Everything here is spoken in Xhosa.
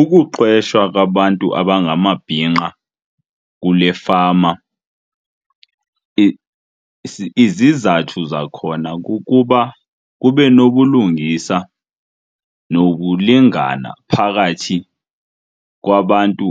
Ukuqeshwa kwabantu abangamabhinqa kule fama izizathu zakhona kukuba kube nobulungisa nokulingana phakathi kwabantu